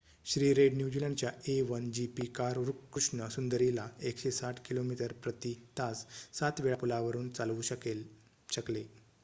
श्री रेड न्यूझीलंडच्या a1gp car Krishna Sundari ला 160 किमी/प्रती तास 7 वेळा पुलावरून चालवू शकले